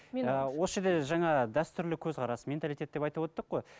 осы жерде жаңа дәстүрлі көзқарас менталиет деп айтып өттік қой